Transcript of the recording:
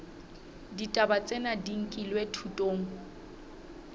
ditaba tsena di nkilwe thutong